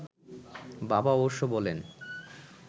বাবা অবশ্য বলেন